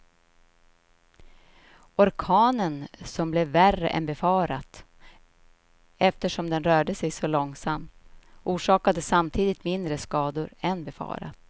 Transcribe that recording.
Orkanen som blev värre än befarat eftersom den rörde sig så långsamt, orsakade samtidigt mindre skador än befarat.